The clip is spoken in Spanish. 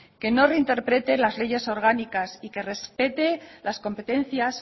que no reinterprete las leyes orgánicas y que respete las competencias